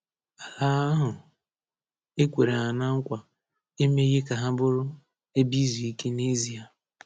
Ala ahụ e kwere ha na nkwa emeghị ka ha bụrụ “ebe izu ike” n'ezie.